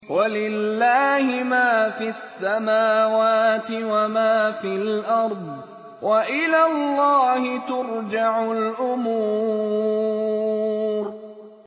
وَلِلَّهِ مَا فِي السَّمَاوَاتِ وَمَا فِي الْأَرْضِ ۚ وَإِلَى اللَّهِ تُرْجَعُ الْأُمُورُ